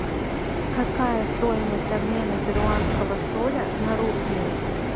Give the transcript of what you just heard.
какая стоимость обмена перуанского соля на рупии